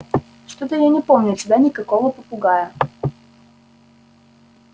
что-то я не помню у тебя никакого попугая